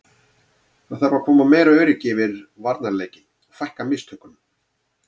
Það þarf að koma meira öryggi yfir varnarleikinn og fækka mistökunum.